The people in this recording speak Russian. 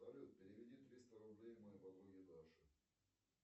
салют переведи триста рублей моей подруге даше